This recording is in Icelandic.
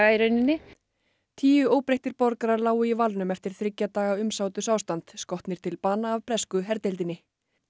í rauninni tíu óbreyttir borgarar lágu í valnum eftir þriggja daga umsátursástand skotnir til bana af bresku herdeildinni